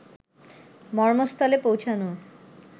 মর্মস্থলে পৌঁছানো